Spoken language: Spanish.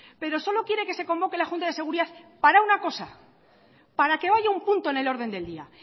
pero solo quiere que se convoque la junta de seguridad para una cosa para que vaya un punto en el orden del día